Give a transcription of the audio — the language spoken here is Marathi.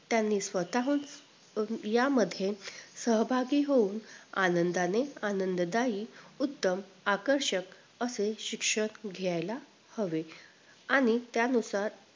त्यांनी स्वतःहून अं यामध्ये सहभागी होऊन आनंदाने आनंददायी उत्तम आकर्षक असे शिक्षण घ्यायला हवे आणि त्यानुसार